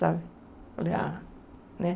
Sabe falei, ah, né?